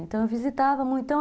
Então eu visitava muito.